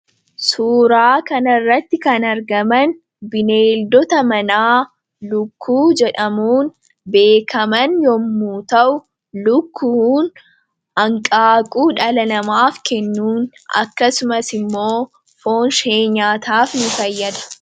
Suuraa kanarratti kan argaman bineeldota manaa lukkuu jedhamuun beekaman yommu ta'u lukkuun anqaaquu dhalanamaaf kennuun akkasumas immoo foonshee nyaataaf nu fayyada.